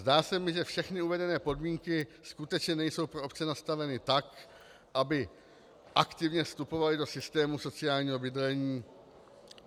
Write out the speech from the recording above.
Zdá se mi, že všechny uvedené podmínky skutečně nejsou pro obce nastaveny tak, aby aktivně vstupovaly do systému sociálního bydlení.